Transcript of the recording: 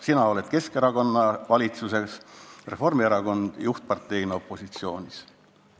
Sina oma Keskerakonnaga valitsuses ja Reformierakond juhtivparteina opositsioonis.